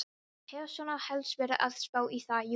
Ég hef svona helst verið að spá í það, jú.